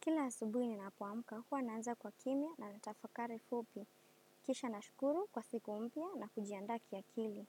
Kila asubui nina poamka, huwa naanza kwa kimia na natafakari fupi. Kisha na shukuru kwa siku mpya na kujiandaa kia kili.